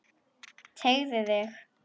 Teygðu þig.